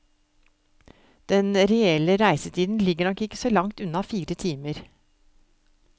Den reelle reisetiden ligger nok ikke så langt unna fire timer.